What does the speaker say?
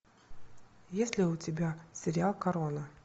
есть ли у тебя сериал корона